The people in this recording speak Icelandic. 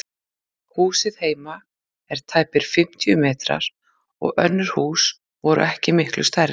Húsið heima er tæpir fimmtíu fermetrar og önnur hús voru ekki miklu stærri.